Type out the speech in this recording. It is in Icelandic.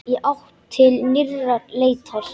Í átt til nýrrar leitar.